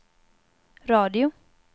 radio